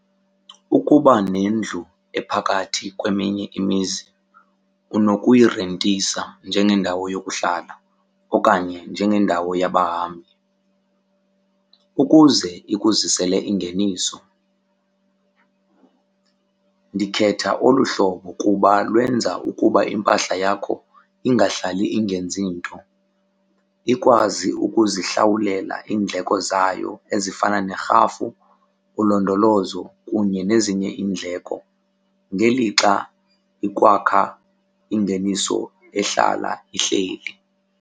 Ukuba nendlu ephakathi kweminye imizi unokuyirentisa njengendawo yokuhlala okanye njengendawo yabahambi ukuze ikuzisele ingeniso. Ndikhetha olu hlobo kuba lwenza ukuba impahla yakho ingahlali ingenzi nto. Ikwazi ukuzihlawulela iindleko zayo ezifana nerhafu, ulondolozo kunye nezinye iindleko ngelixa ukwakha ingeniso ehlala ihleli.